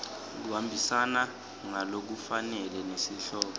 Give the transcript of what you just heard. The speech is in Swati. kuhambisana ngalokufanele nesihloko